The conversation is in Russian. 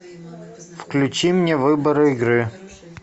включи мне выбор игры